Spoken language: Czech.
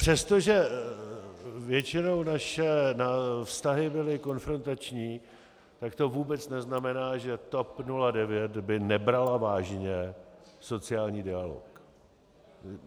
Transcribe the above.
Přestože většinou naše vztahy byly konfrontační, tak to vůbec neznamená, že by TOP 09 nebrala vážně sociální dialog.